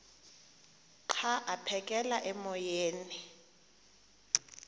xa aphekela emoyeni